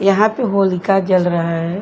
यहाँ पे होलिका जल रहा है।